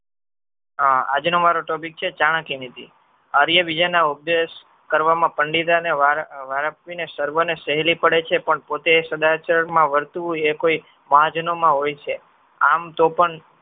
આજનો મારો ટોપિક છે ચાણક્યનીતિ. આર્ય બીજાના ઉપદેશ કરવામાં પંડિતે અને સર્વને સહેલી પડે છે. પણ પોતે સદાચરમાં વર્તુવુએ કોઈ માં હોય છે. આમ તો પણ